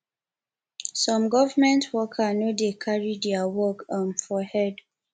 some government worker no dey carry their work um for head